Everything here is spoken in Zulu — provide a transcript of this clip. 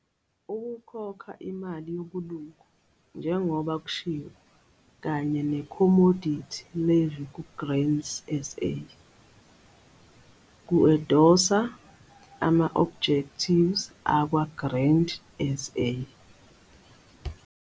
Ukukhokha imali yobulungu njengoba kushiwo kanye nekhomodithi levy kuGrain SA, ku-Endosa ama-objectives akwa-Grain SA.